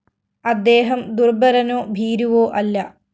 അദ്ദേഹം ദുര്‍ബലനോ ഭീരുവോ അല്ല